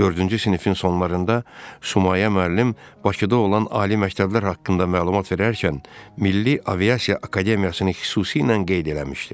Dördüncü sinifin sonlarında Sumayə müəllim Bakıda olan ali məktəblər haqqında məlumat verərkən Milli Aviasiya Akademiyasını xüsusilə qeyd eləmişdi.